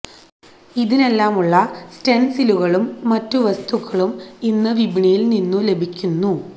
ഇതിനെല്ലാമുള്ള സ്റ്റെന്സിലുകളും മറ്റു വസ്തുക്കളും ഇന്ന് വിപണിയില് നിന്നും ലഭിക്കുന്നു